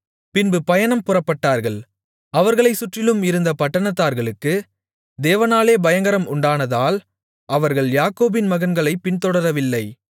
பின்பு பயணம் புறப்பட்டார்கள் அவர்களைச் சுற்றிலும் இருந்த பட்டணத்தார்களுக்கு தேவனாலே பயங்கரம் உண்டானதால் அவர்கள் யாக்கோபின் மகன்களைப் பின்தொடரவில்லை